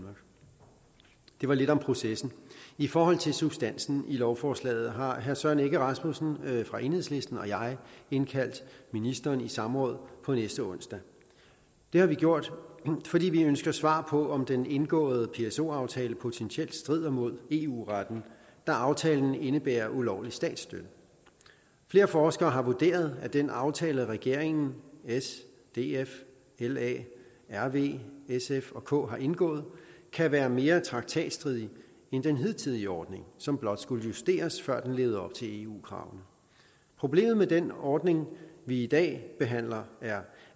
var lidt om processen i forhold til substansen i lovforslaget har herre søren egge rasmussen fra enhedslisten og jeg indkaldt ministeren i samråd på næste onsdag det har vi gjort fordi vi ønsker svar på om den indgåede pso aftale potentielt strider mod eu retten da aftalen indebærer ulovlig statsstøtte flere forskere har vurderet at den aftale regeringen s df la rv sf og k har indgået kan være mere traktatstridig end den hidtidige ordning som blot skulle justeres før den levede op til eu kravene problemet med den ordning vi i dag behandler er